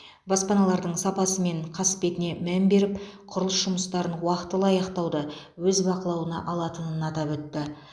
баспаналардың сапасы мен қасбетіне мән беріп құрылыс жұмыстарын уақтылы аяқтауды өз бақылауына алатынын атап өтті